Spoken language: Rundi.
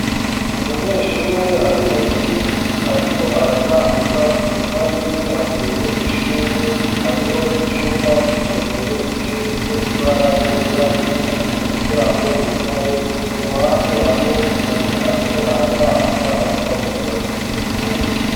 Umunyeshure ari munsi y'igiti ariko aratambuka inyuma yiwe hateye ishurwe hariho n'icumba c'isomero gisize ibara ryera, hari umuryango wugaye. Iruhande hariho umuntu ariko aratambuka ariko avugira kuri terefone.